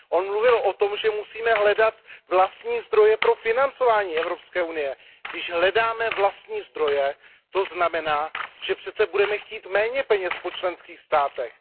On mluvil o tom, že musíme hledat vlastní zdroje pro financování Evropské unie. Když hledáme vlastní zdroje, to znamená, že přece budeme chtít méně peněz po členských státech.